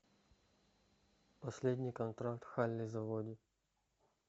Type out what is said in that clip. последний контракт халли заводи